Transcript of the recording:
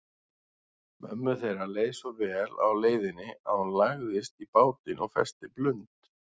Mömmu þeirra leið svo vel á leiðinni að hún lagðist í bátinn og festi blund.